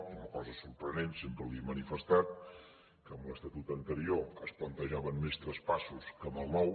i una cosa sorprenent sempre li ho he manifestat que amb l’estatut anterior es plantejaven més traspassos que amb el nou